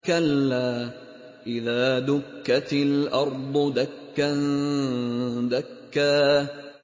كَلَّا إِذَا دُكَّتِ الْأَرْضُ دَكًّا دَكًّا